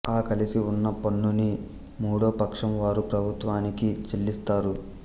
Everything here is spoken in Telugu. ఆ కలిసి ఉన్న పన్నుని మూడోపక్షం వారు ప్రభుత్వానికి చెల్లిస్తారు